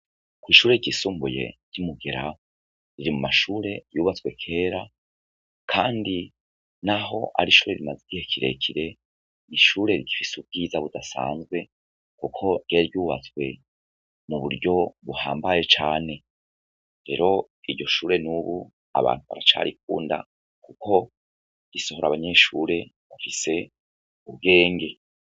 Ko'ishure ryisumbuye ry'umugera riri mu mashure yubatswe kera, kandi, naho ari ishure bimaze igihe kirekire niishure rigifise ubwiza budasanzwe, kuko ryaryubatswe mu buryo buhambaye cane rero iryo shure n'ubu abantu baracariko nda, kuko gisohora abanyeshure gufise ubwenge.